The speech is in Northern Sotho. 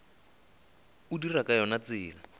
o dira ka yona tsela